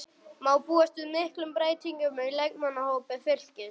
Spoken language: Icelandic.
Má búast við miklum breytingum á leikmannahópi Fylkis?